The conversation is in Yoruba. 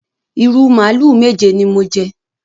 Ìrù màlúù méje ni mo jẹ.